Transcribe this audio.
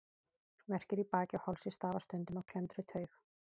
Verkir í baki og hálsi stafa stundum af klemmdri taug.